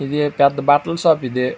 ఇదీ పెద్ద బట్టలు షాప్ ఇదీ.